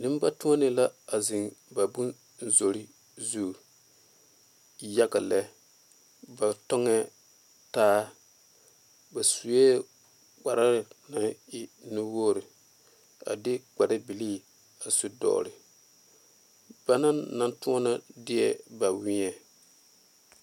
Nenbatoɔnee la a zeŋ ba bonzorii zu yaga lɛ ba tɔŋɛɛ taa ba sue kpar naŋ e nuwogri a de kparbilii a su dɔgle ba naŋ naŋ toɔna deɛ ba weɛ.